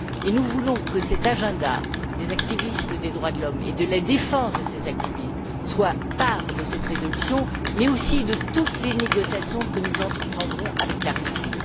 Nous voulons que cet agenda des militants des droits de l'homme et de la défense de ces militants fasse partie de cette résolution, mais aussi de toutes les négociations que nous entreprendrons avec la Russie.